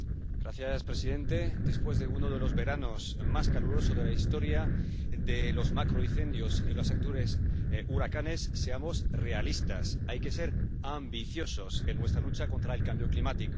Señor presidente, después de uno de los veranos más calurosos de la historia, de los macroicendios y de los actuales huracanes, seamos realistas hay que ser ambiciosos en nuestra lucha contra el cambio climático.